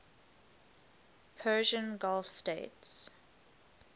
persian gulf states